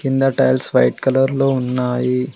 కింద tiles white colour లో ఉన్నాయి.